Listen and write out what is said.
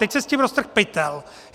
Teď se s tím roztrhl pytel.